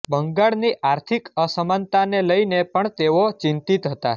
બંગાળની આર્થિક અસમાનતાને લઈને પણ તેઓ ચિંતિત હતા